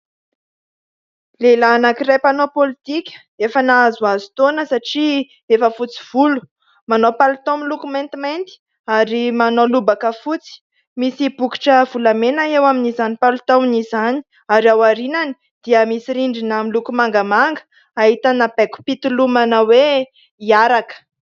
Lehilahy anakiray mpanao pôlitika, efa nahazoazo taona satria efa fotsy volo, manao palitao miloko maintimainty ary manao lobaka fotsy, misy bokitra volamena eo amin'izany palitaony izany ary ao aorianany dia misy rindrina miloko mangamanga, ahitana baikom-pitolomana hoe hiaraka.